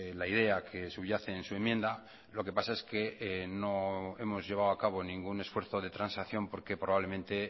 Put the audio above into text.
la idea que subyace en su enmienda lo que pasa es que no hemos llevado a cabo ningún esfuerzo de transacción porque probablemente